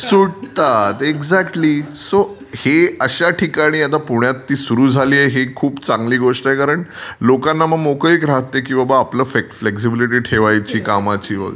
सुटतात. Exactly. So हे अशा ठिकाणी आहे न पुण्यातली सुरू झालीय ही खूप चांगली गोष्ट आहे कारण लोकांना मग मोकळीक राहते की आपली फ्लेक्झिबिलिटी ठेवायची कामाची वगैरे.